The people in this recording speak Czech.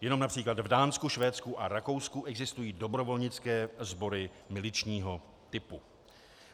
Jenom například v Dánsku, Švédsku a Rakousku existují dobrovolnické sbory miličního typu.